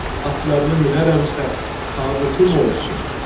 Atlarını minərəmsə, tabutum olsun.